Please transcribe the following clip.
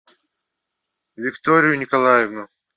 викторию николаевну